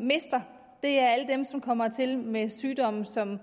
mister og det er alle dem som kommer hertil med sygdomme som